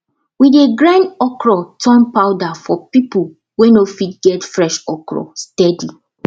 we dey grind okra turn powder for people wey no fit get fresh okra steady